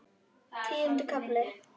Tíundi kafli